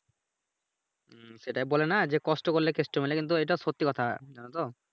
হুম সেটাই বলেনা যে কষ্ট করলে কেষ্ট মেলে কিন্তু এইটা সত্যি কথা জানোতো।